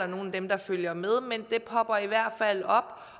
nogle af dem der følger med men det popper i hvert fald op